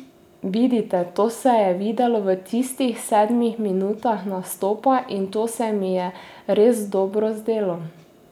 Vidite, to se je videlo v tistih sedmih minutah nastopa in to se mi je res dobro zdelo!